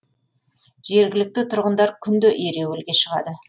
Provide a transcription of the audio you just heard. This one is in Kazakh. жергілікті тұрғындар күнде ереуілге шығады